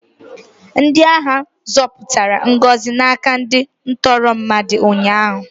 Ndị agha zọpụtara Ngozi n'aka ndị ntọrọ mmadụ ụnyaahụ.